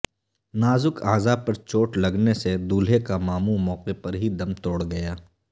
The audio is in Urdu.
نازک اعضاء پر چوٹ لگنے سے دولہے کا ماموں موقع پر ہی دم توڑ گیا